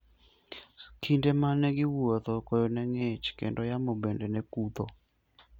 Kinde ma ne giwuotho, koyo ne ng'ich, kendo yamo bende ne kutho.